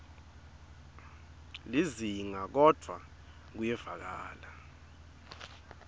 lizinga kodvwa kuyevakala